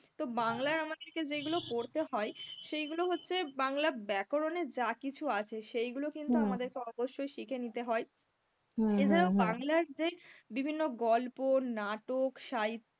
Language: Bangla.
তো বাংলার আমাদেরকে যেগুলো পড়তে হয় সেইগুলো হচ্ছে বাংলা ব্যকরনের যা কিছু আছে সেইগুলো কিন্তু আমাদেরকে অবশ্যই শিখে নিতে হয়, এছাড়াও বাংলার যে বিভিন্ন গল্প, নাটক, সাহি~